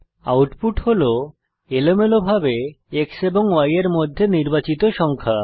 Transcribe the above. output হল এলোমেলোভাবে X এবং Y এর মধ্যে নির্বাচিত সংখ্যা